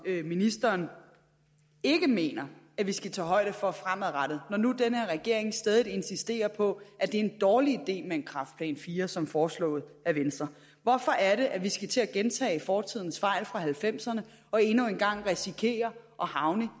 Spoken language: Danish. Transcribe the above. ministeren ikke mener at vi skal tage højde for fremadrettet når nu den her regering stædigt insisterer på at det er en dårlig idé med en kræftplan iv som foreslået af venstre hvorfor er det at vi skal til at gentage fortidens fejl fra nitten halvfemserne og endnu en gang risikere at havne